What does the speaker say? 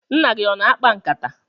Nna gị ọ na-akpa nkata?